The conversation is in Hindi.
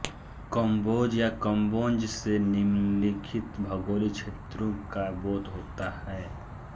कम्बोज या कंबोज से निम्नलिखित भौगोलिक क्षेत्रों का बोध होता है